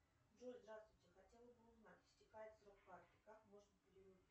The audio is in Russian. джой здравствуйте хотела бы узнать истекает срок карты как можно